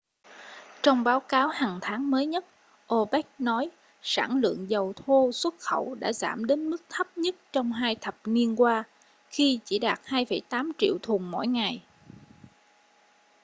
trong báo cáo hằng tháng mới nhất opec nói sản lượng dầu thô xuất khẩu đã giảm đến mức thấp nhất trong hai thập niên qua khi chỉ đạt 2,8 triệu thùng mỗi ngày